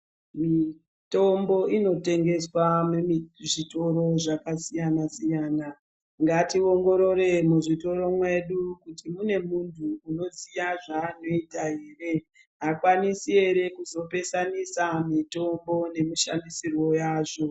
Mitombo inotengeswa mumizvitoro zvakasiyana siyana ngationgorore muzvitoro mwedu kuti mune muntu unoziya zvaanoita ere akwanisi ere kuzopesanisa mitombo nemishandisirwo yazvo.